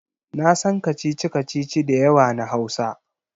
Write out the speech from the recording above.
Na san kacici-kacici da yawa na Hausa.